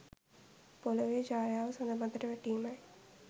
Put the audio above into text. පොළොවේ ඡායාව සද මතට වැටීමයි.